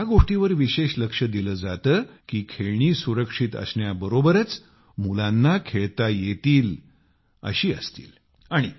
इथे या गोष्टीबर विशेष लक्ष दिले जाते कि खेळणी सुरक्षित असण्याबरोबरच मुलांना खेळता येतील अशी असतील